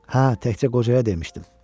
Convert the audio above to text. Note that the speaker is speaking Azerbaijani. Hə, təkcə qocaya demişdim.